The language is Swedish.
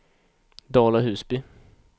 Dala-Husby